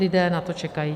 Lidé na to čekají.